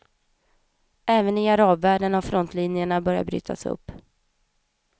Även i arabvärlden har frontlinjerna börjat brytas upp.